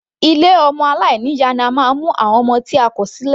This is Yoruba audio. Ilé ọmọ aláìní ìyá ni a máa ń mu àwọn ọmọ tí a kò sílẹ̀.